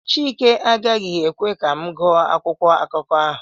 chike agaghị ekwe ka m gụọ akwụkwọ akụkọ ahụ